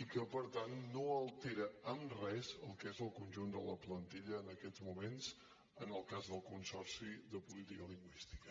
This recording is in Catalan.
i que per tant no altera en res el que és el conjunt de la plantilla en aquests moments en el cas del consorci de política lingüística